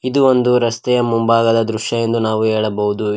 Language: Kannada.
ಇದು ಒಂದು ರಸ್ತೆಯ ಮುಂಭಾಗದ ದೃಶ್ಯ ಎಂದು ನಾವು ಹೇಳಬಹುದು ಈ.